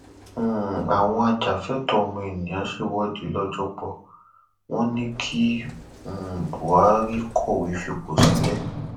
um àwọn ajàfẹtọọọmọnìyàn ṣèwọde lọjọgbò wọn ní kí um buhari kọwé fipò sílẹ